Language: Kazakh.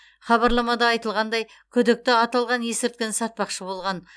хабарламада айтылғандай күдікті аталған есірткіні сатпақшы болған